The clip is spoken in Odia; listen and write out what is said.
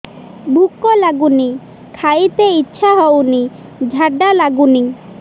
ଭୁକ ଲାଗୁନି ଖାଇତେ ଇଛା ହଉନି ଝାଡ଼ା ଲାଗୁନି